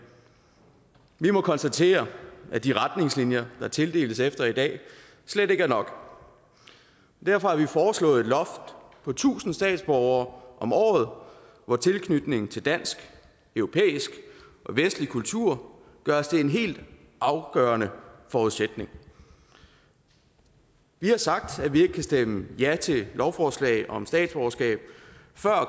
vi må konstatere at de retningslinjer der tildeles statsborgerskab efter i dag slet ikke er nok derfor har vi foreslået et loft på tusind statsborgere om året hvor tilknytningen til dansk europæisk og vestlig kultur gøres til en helt afgørende forudsætning vi har sagt at vi ikke kan stemme ja til lovforslaget om statsborgerskab før